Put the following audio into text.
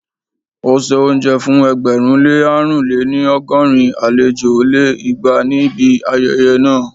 ó se oúnjẹ fún ẹgbẹ̀rún lé àrún lé-ní- ọgọ́rin àlejò lé igba níbi ayẹyẹ náà